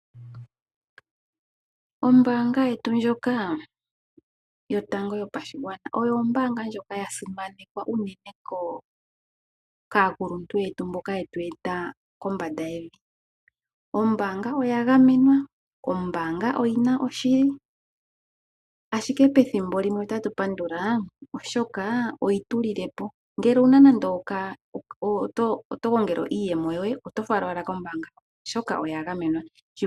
Ombaanga yetu ndjoka yo tango yopashigwana, oyo ombaanga ndjoka ya simanekwa uunene kaakuluntu yetu mboka ye tu eta kombanda yevi. Ombaanga oya gamenwa, ombaanga oyi na oshili, ashike pethimbo limwe otatu pandula oshoka oyi tulilile po. Ngele ando oto gongele iiyemo yoye, oto fala owala kombaanga oshoka oya gamenwa.